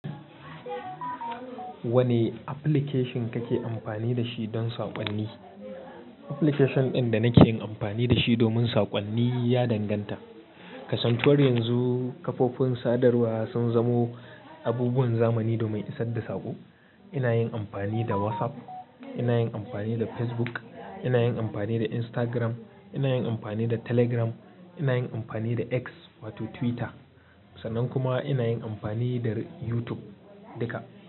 Wane application kake amfani da shi don saƙonni? Application ɗin da nake yin amfani da shi domin saƙonni ya danganta. Kasantuwar yanzu kafofin sadarwa sun zamo abubuwan zamani domin isar da saƙo. Ina yin amfani da WhatsApp, ina yin amfani da Facebook, ina yin amfani da Instagram, ina yin amfani da Telegram, ina yin amfani da X wato Twitter sannan kuma ina yin amfani da YouTube duka.